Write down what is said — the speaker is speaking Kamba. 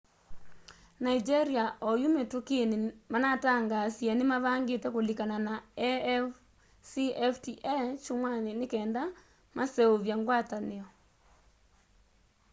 nigeria oyũ mĩtũkĩnĩ manatangaasĩe nĩmavangĩte kũlĩkana na afcfta kyũmwanĩ nĩkenda maseũvye ngwatanĩo